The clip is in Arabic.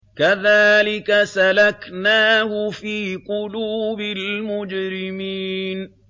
كَذَٰلِكَ سَلَكْنَاهُ فِي قُلُوبِ الْمُجْرِمِينَ